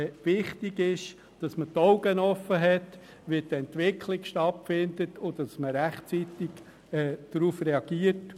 Wichtig ist, dass man die Augen offen hat, sieht, wie die Entwicklung stattfindet und rechtzeitig darauf reagiert.